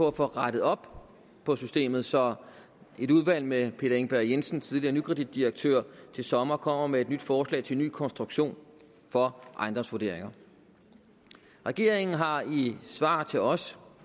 at få rettet op på systemet så et udvalg med peter engberg jensen tidligere nykreditdirektør til sommer kommer med et forslag til en ny konstruktion for ejendomsvurderinger regeringen har i svar til os